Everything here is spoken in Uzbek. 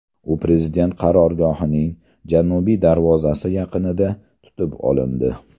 U prezident qarorgohining janubiy darvozasi yaqinida tutib olindi.